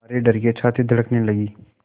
मारे डर के छाती धड़कने लगी